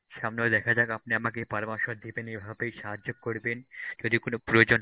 সামনেও দেখা যাক আপনি আমাকে পরামর্শ দিবেন এভাবেই সাহায্য করবেন যদি কোন প্রয়োজন